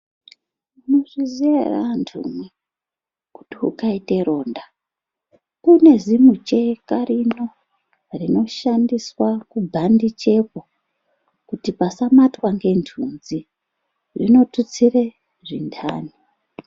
Munozviziyaere antumwi, kuti ukaite ronda kunezimucheka rino, rinoshandiswa kubhandichepo kuti pasamatwa ngentunzi, zvinotutsire zvintani.